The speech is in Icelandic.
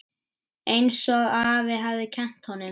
Einsog afi hafði kennt honum.